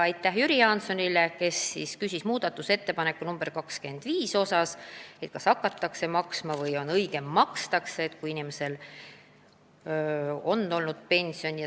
Aitäh Jüri Jaansonile, kes küsis muudatusettepaneku nr 25 kohta, kas seal toodud lauses on õige "hakatakse maksma" või "makstakse".